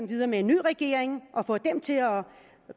videre med en ny regering og få den til at